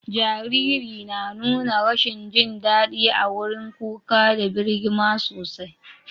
Jariri na nuna rashin jin dadi a wurin kuka da birgima sosai.